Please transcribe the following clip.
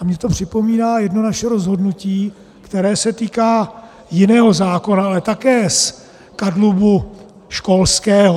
A mně to připomíná jedno naše rozhodnutí, které se týká jiného zákona, ale také z kadlubu školského.